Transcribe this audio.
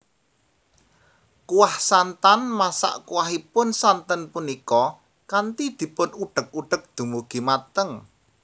Kuah santanMasak kuahipun santen punika kanthi dipun udhek udhek dumugi mateng